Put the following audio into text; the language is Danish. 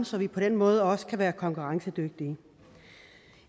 så vi på den måde også kan være konkurrencedygtige